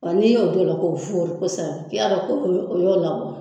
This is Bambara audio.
N'i y'o don o la k'o fɔri kosɛbɛ k'i y'a dɔn o y'o o y'o labɔ